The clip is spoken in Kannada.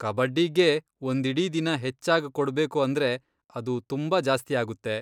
ಕಬಡ್ಡಿಗೇ ಒಂದಿಡೀ ದಿನ ಹೆಚ್ಚಾಗ್ ಕೊಡ್ಬೇಕು ಅಂದ್ರೆ ಅದು ತುಂಬಾ ಜಾಸ್ತಿಯಾಗುತ್ತೆ.